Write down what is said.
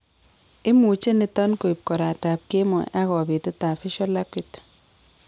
Imuche niton koib koraat ab keemoy ak kobetet ab visual acuity